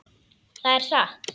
Það er satt!